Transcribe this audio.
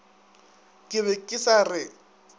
ke be ke sa re